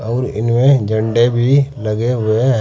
और इनमें झंडे भी लगे हुए है।